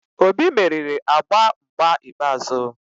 Obi meriri agba mgba ikpeazụ